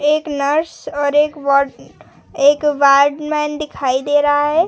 एक नर्स और एक वार्ड वार्ड मैन दिखाई दे रहा है।